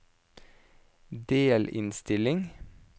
delinnstilling